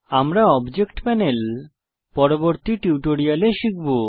আমরা object panel পরবর্তী টিউটোরিয়ালে শিখব